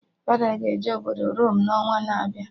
Fada ga-eje obodo Rome n'ọnwa na-abịa